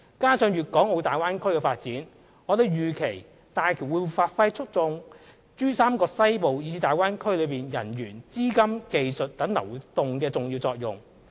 加上粵港澳大灣區的發展，我們預期大橋會發揮促進珠三角西部以至大灣區內人員、資金、技術等流動的重要作用。